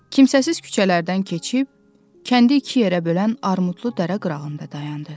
Kimsəsiz küçələrdən keçib, kəndi iki yerə bölən armudlu dərə qırağında dayandı.